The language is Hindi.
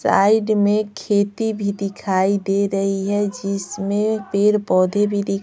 साइड में खेती भी दिखाई दे रही है जिसमें पेड़ पौधे भी--